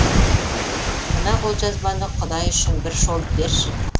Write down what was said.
мына қолжазбаны құдай үшін бір шолып берші